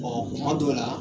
Bɔn kuma dɔw la